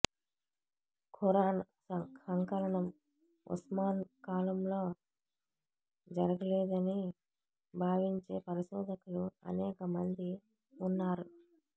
ఖురాన్ సంకలనం ఉస్మాన్ కాలంలో జరగలేదని భావించే పరిశోధకులు అనేక మంది ఉన్నారు